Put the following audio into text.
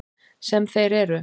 Sem þeir eru.